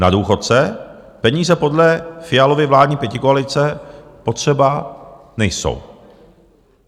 Na důchodce peníze podle Fialovy vládní pětikoalice potřeba nejsou.